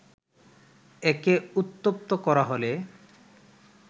একে উত্তপ্ত করা হলে